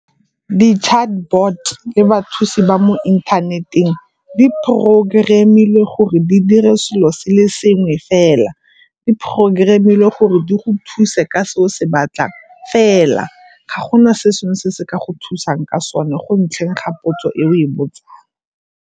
Di-chatbot le bathusi ba mo inthaneteng di programm-ilwe gore di diren selo se le sengwe fela. Di programm-ilwe gore di go thuse ka se o se batlang fela, ga gona se sengwe se se ka go thusang ka sone go ntlheng ga potso e o e botsang.